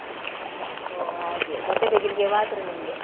ಓ ಹಾಗೆ ಬಟ್ಟೆ ತೆಗಿಲಿಕ್ಕೆ ಮಾತ್ರ ನಿಮ್ಗೆ.